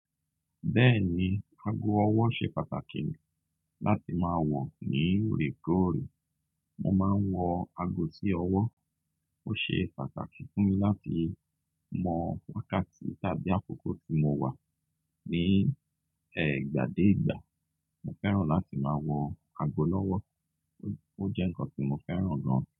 Bẹ́ẹ̀ni, ago ọwọ́ ṣe pàtàkì láti máa wọ̀ ní òorekoore. Mo máa ń wọ ago sí ọwọ́. Ó ṣe pàtàkì fún mi láti mọ̀ wákàtí tàbí àkókò tí mo wà ní, ìgbà dé ìgbà. Mo fẹ́ràn láti máa wọ ago lọ́wọ́. Ó jẹ́ ǹnkan tí mo fẹ́ràn gan.